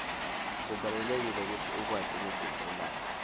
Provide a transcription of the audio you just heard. kubalulekile kutsi ukwati kugcina imali